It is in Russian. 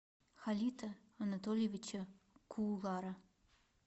халита анатольевича куулара